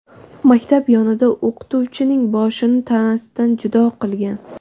maktab yonida o‘qituvchining boshini tanasidan judo qilgan.